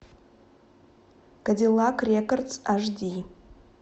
кадиллак рекордс аш ди